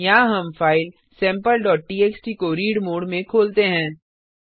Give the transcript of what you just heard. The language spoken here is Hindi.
यहाँ हम फाइल sampleटीएक्सटी को रीड मोड में खोलते हैं